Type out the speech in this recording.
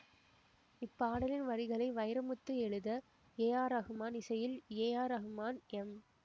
இப்பாடலின் வரிகளை வைரமுத்து எழுத ரகுமான் இசையில் ரகுமான் எம்